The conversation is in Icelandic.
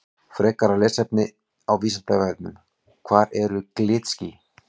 Frekara lesefni á Vísindavefnum Hvað eru glitský?